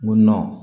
N ko